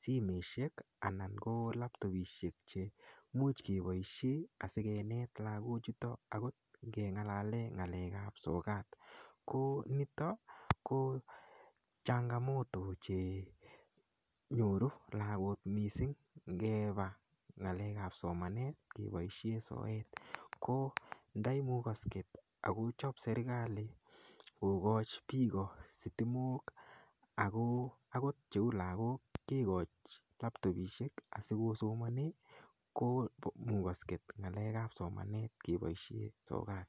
simeshek anan ko laptopishek chemuch keboishe asikenet lakochuto akot nengalale ng'alek ap sokat konito ko changamoto chenyoru lakok mising ngepa ng'alek ap somanet kepoishe sokat ko ndaimukosket akochop serikali kokoch piko sitimok akot cheu lakok kekoch laptopishek asikosomone komukosket ng'alek ap somanet keboishe sokat